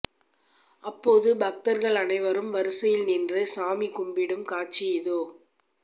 அப்போது பக்தர்கள் அனைவரும் வரிசையில் நின்று சாமி கும்பிடும் காட்சி இதோ